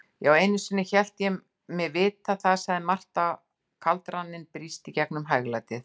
Já, einusinni hélt ég mig vita það, segir Marta og kaldraninn brýst gegnum hæglætið.